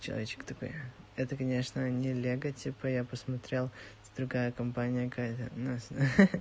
человечек такой это конечно не лего типа я посмотрел это другая компания какая-то у нас хи хи